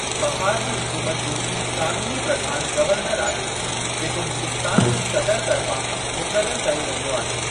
बहार जी हुकूमत जो क़ानूनी प्रधान गवर्नर आहे, जेको हिन्दुस्तान जे सदर तर्फ़ां मुक़ररु कयो वेंदो आहे।